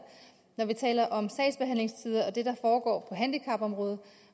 når vi taler om sagsbehandlingstider og det der foregår på handicapområdet